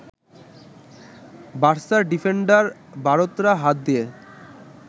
বার্সার defender Bartra হাত দিয়ে